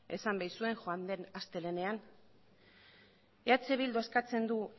esan baitzuen joan den astelehenean eh bilduk eskatzen du